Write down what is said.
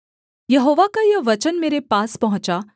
यहोवा का यह वचन मेरे पास पहुँचा